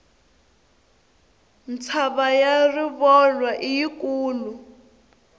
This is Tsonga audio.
mtshava ya rivolwa i yi kulu